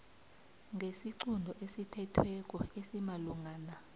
ngesiqunto esithethweko esimalungana